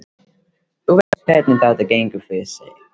Þú veist hvernig þetta gengur fyrir sig.